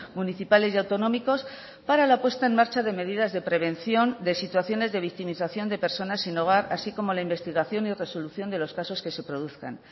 municipales y autonómicos para la puesta en marcha de medidas de prevención de situaciones de victimización de personas sin hogar así como la investigación y resolución de los casos que se produzcan